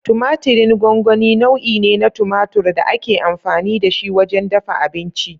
Tumatirin gongoni nau'i ne na tumatur da ake amfani da shi wajen dafa abinci.